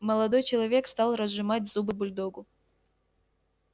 молодой человек стал разжимать зубы бульдогу